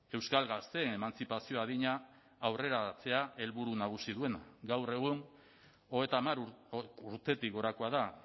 euskal gazteen emantzipazio adina aurreratzea helburu nagusi duena gaur egun hogeita hamar urtetik gorakoa da